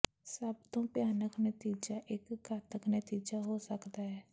ਸਭ ਤੋਂ ਭਿਆਨਕ ਨਤੀਜਾ ਇੱਕ ਘਾਤਕ ਨਤੀਜਾ ਹੋ ਸਕਦਾ ਹੈ